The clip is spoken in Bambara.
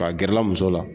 K'a gɛrɛla muso la